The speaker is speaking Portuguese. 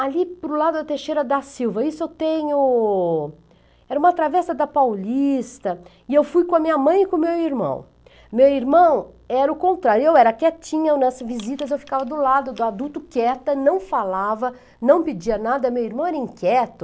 ali para i lado da Teixeira da Silva isso eu tenho era uma travessa da Paulista e eu fui com a minha mãe e com o meu irmão meu irmão era o contrário eu era quietinha nas visitas eu ficava do lado do adulto quieta não falava, não pedia nada meu irmão era inquieto